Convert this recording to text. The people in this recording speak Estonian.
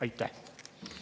Aitäh!